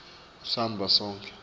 samba sako konkhe